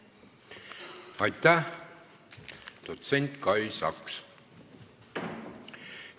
Aitäh, dotsent Kai Saks!